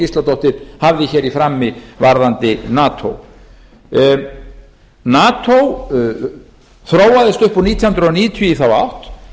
gísladóttir hafði hér í frammi varðandi nato nato þróaðist upp úr nítján hundruð níutíu í þá átt